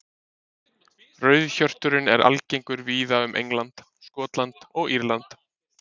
Rauðhjörturinn er algengur víða um England, Skotland og Írland.